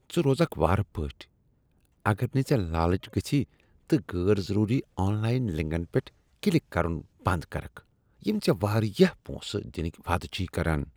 ژٕ روزکھ وارٕ پٲٹھۍ اگر نہٕ ژےٚ لالٕچ گژھی تہٕ غیر ضروری آن لاین لنٛکن پیٹھ کلک کرن بنٛد کرکھ یم ژےٚ واریاہ پونٛسہٕ دنک وعدٕ چھ کران۔